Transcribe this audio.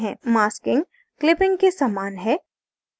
masking clipping के समान है